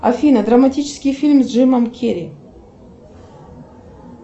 афина драматический фильм с джимом керри